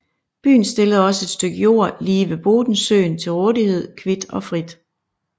Byen stillede også et stykke jord lige ved Bodensøen til rådighed kvit og frit